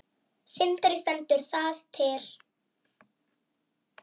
Sindri: Stendur það til?